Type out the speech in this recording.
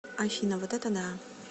афина вот это да